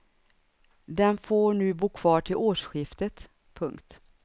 Den får nu bo kvar till årsskiftet. punkt